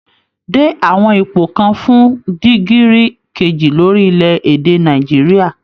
Dé àwọn ipò kan fún dìgírì kejì lórílẹ̀ èdè Nàìjíríà